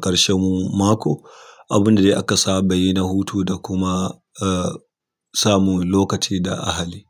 ƙarshen mako, abun da aka saba yi na hutu da kuma uh samu lokaci da ahali.